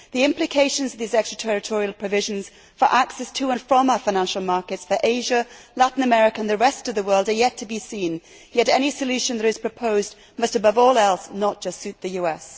The implications of these extraterritorial provisions for access to and from our financial markets for Asia, Latin America and the rest of the world are yet to be seen, yet any solution that is proposed must above all else not just suit the US.